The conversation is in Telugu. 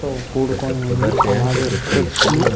చెట్లతో కూడుకొని ఉంది అలాగే చెట్లు --